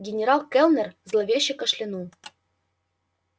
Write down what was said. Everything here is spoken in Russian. генерал кэллнер зловеще кашлянул